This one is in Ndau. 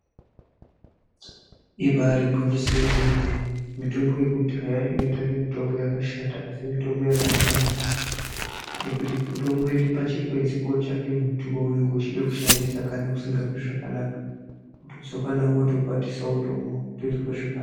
Ibari gwinyiso remene mitombo inoita kunge mitombo yakashata asi mitombo yakanaka maningi ngekuti unongoenda pachikwenzi kutsvake muti waunenenge uchida kushandisa paunenge usinganzwi zvakanaka wotokwatisa wotomwa wotinzwa zvakanaka.